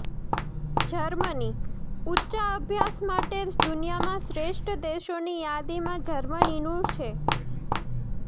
જર્મનીઃ ઉચ્ચાભ્યાસ માટે દુનિયામાં શ્રેષ્ઠ દેશોની યાદીમાં જર્મનીનું છે